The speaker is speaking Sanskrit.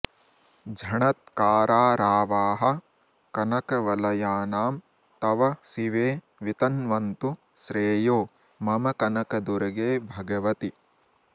झणत्कारारावाः कनकवलयानां तव शिवे वितन्वन्तु श्रेयो मम कनकदुर्गे भगवति